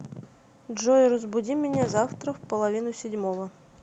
джой разбуди меня завтра в половину седьмого